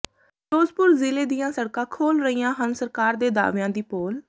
ਫਿਰੋਜ਼ਪੁਰ ਜ਼ਿਲੇ ਦੀਆਂ ਸੜਕਾਂ ਖੋਲ੍ਹ ਰਹੀਆਂ ਹਨ ਸਰਕਾਰ ਦੇ ਦਾਅਵਿਆਂ ਦੀ ਪੋਲ